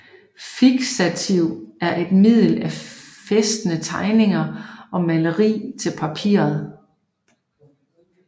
Fiksativ er et middel at fæstne tegninger og malerier til papiret